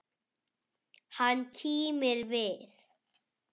Hann kímir við.